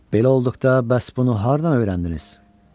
Belə olduqda bəs bunu hardan öyrəndiniz?